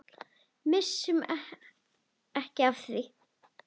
Missum ekki af því.